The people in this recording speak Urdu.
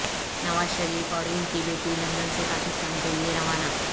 نواز شریف اور ان کی بیٹی لندن سے پاکستان کے لئے روانہ